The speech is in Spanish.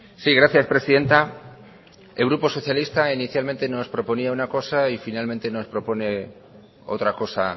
sí gracias presidenta el grupo socialista inicialmente nos proponía una cosa y finalmente nos propone otra cosa